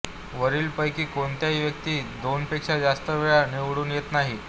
वरीलपकी कोणतीही व्यक्ती दोनपेक्षा जास्त वेळा निवडून येत नाही